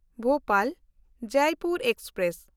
ᱵᱷᱳᱯᱟᱞ–ᱡᱚᱭᱯᱩᱨ express